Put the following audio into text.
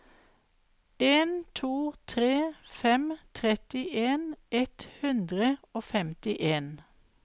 en to tre fem trettien ett hundre og femtien